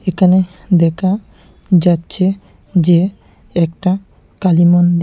এখানে দেখা যাচ্ছে যে একটা কালী মন্দি--